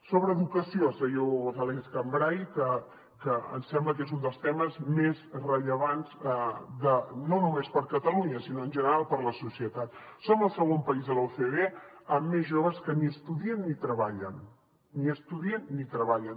sobre educació senyor gonzàlez cambray que ens sembla que és un dels temes més rellevants no només per a catalunya sinó en general per a la societat som el segon país de l’ocde amb més joves que ni estudien ni treballen ni estudien ni treballen